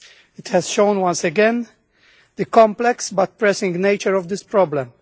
It has shown once again the complex, but pressing nature of this problem.